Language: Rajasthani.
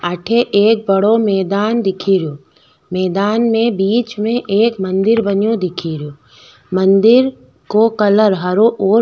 अठे एक बड़ो मैदान दिखरियो मैदान में बीच में एक मंदिर बनयो दिखरयो मंदिर को कलर हरो और --